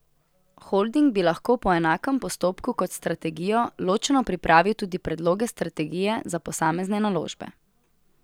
Holding bi lahko, po enakem postopku kot strategijo, ločeno pripravil tudi predloge strategije za posamezne naložbe.